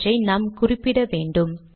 அவற்றை நாம் குறிப்பிட வேண்டும்